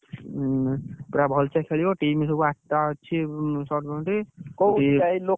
ଉଁ ପୁରା ଭଲସେ ଖେଳିବ team ସବୁ ଆଠଟା ଅଛି ଉଁ ।